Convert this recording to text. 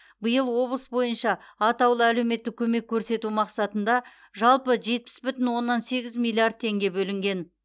биыл облыс бойынша атаулы әлеуметтік көмек көрсету мақсатында жалпы жетпіс бүтін оннан сегіз миллиард теңге бөлінген